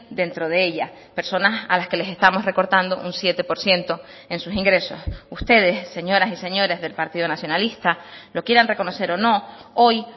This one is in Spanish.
dentro de ella personas a las que les estamos recortando un siete por ciento en sus ingresos ustedes señoras y señores del partido nacionalista lo quieran reconocer o no hoy